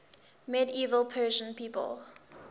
medieval persian people